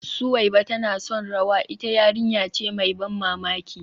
Suweiba tana son rawa, ita yarinya ce mai ban mamaki